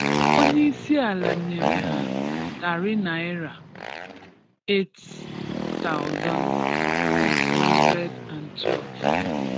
Onyéị̀siala nyerè hà tári Nàị́rà 8,612